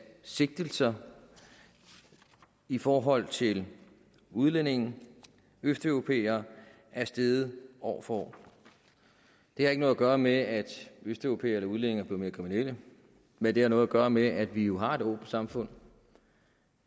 af sigtelser i forhold til udlændinge østeuropæere er steget år for år det har ikke noget at gøre med at østeuropæere eller udlændinge mere kriminelle men det har noget at gøre med at vi har et åbent samfund